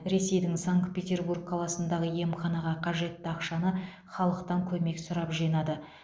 ресейдің санкт петербург қаласындағы емханаға қажетті ақшаны халықтан көмек сұрап жинады